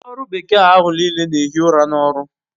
Ndi oru bekee ahu n'ile n'ehi ura n'oru